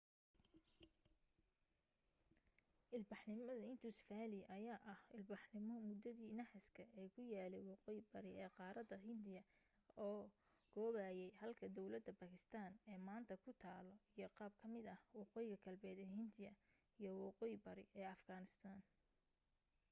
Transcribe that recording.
ilbaxnimada indus valley ayaa ahaa ilbaxnimo muddadii naxaaska ee ku yaalay waqooyi bari ee qaarada hindiga oo koobayay halka dawladda baakistaan ee maaanta ku taalo iyo qayb ka mid ah waqooyi galbeed ee hindiya iyo waqooyi bari ee afghanistan